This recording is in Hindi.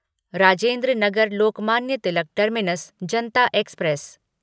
Rajendra Nagar Lokmanya Tilak terminus Janata express